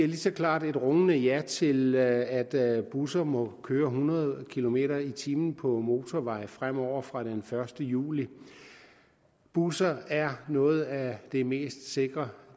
lige så klart og rungende ja til at busser må køre hundrede kilometer per time på motorvej fremover fra den første juli busser er noget af det mest sikre